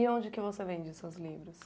E onde que você vende seus livros?